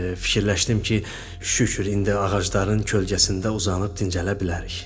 fikirləşdim ki, şükür indi ağacların kölgəsində uzanıb dincələ bilərik.